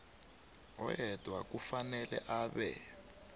oyedwa kufanele abe